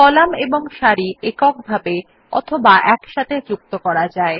column এবং সারি এক এক করে অথবা একসাথে যুক্ত করা যায়